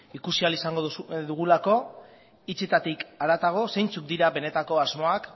ikusi ahal izango dugulako hitzetatik haratago zeintzuk dira benetako asmoak